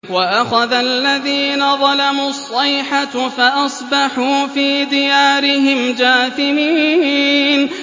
وَأَخَذَ الَّذِينَ ظَلَمُوا الصَّيْحَةُ فَأَصْبَحُوا فِي دِيَارِهِمْ جَاثِمِينَ